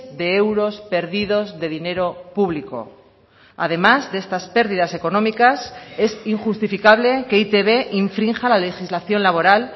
de euros perdidos de dinero público además de estas pérdidas económicas es injustificable que e i te be infrinja la legislación laboral